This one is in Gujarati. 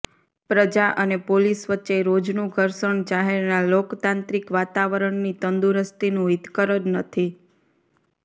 પ્રજા અને પોલીસ વચ્ચે રોજનું ઘર્ષણ શહેરના લોકતાંત્રિક વાતાવરણની તંદુરસ્તીનું હિતકર નથી જ